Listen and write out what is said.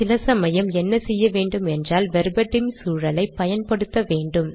சில சமயம் என்ன செய்ய வேண்டும் என்றால் வெர்பட்டிம் சூழலை பயன்படுத்த வேண்டும்